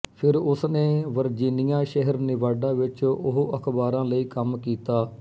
ਫਿਰ ਉਸਨੇ ਵਰਜੀਨੀਆ ਸ਼ਹਿਰ ਨੇਵਾਡਾ ਵਿੱਚ ਉਹ ਅਖ਼ਬਾਰਾਂ ਲਈ ਕੰਮ ਕੀਤਾ